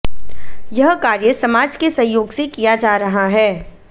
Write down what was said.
यह कार्य समाज के सहयोग से किया जा रहा है